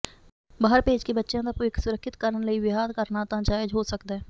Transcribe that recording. ਬਾਹਰ ਭੇਜਕੇ ਬੱਚਿਆਂ ਦਾ ਭਵਿੱਖ ਸੁਰੱਖਿਅਤ ਕਰਨ ਲਈ ਵਿਆਹ ਕਰਨਾ ਤਾ ਜਾਇਜ ਹੋ ਸਕਦਾ